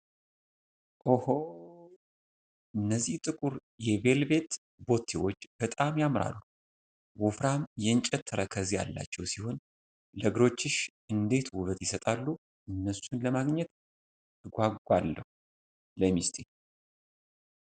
ኦሆ! እነዚህ ጥቁር የቬልቬት ቦቲዎች በጣም ያምራሉ! ወፍራም የእንጨት ተረከዝ ያላቸው ሲሆን ለእግሮችሽ እንዴት ውበት ይሰጣሉ! እነሱን ለማግኘት እጓጓለሁ ለሚስቴ!